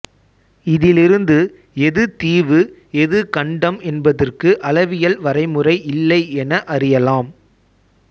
இதிலிருந்து எது தீவு எது கண்டம் என்பதற்கு அளவியல் வரைமுறை இல்லை என அறியலாம்